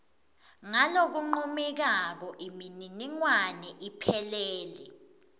ngalokuncomekako imininingwane iphelele